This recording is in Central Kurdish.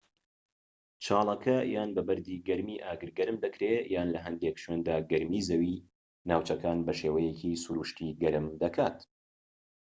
چاڵەکە یان بە بەردی گەرمی ئاگر گەرم دەکرێت یان لە هەندێک شوێندا گەرمی زەوی ناوچەکان بە شێوەیەکی سروشتی گەرم دەکات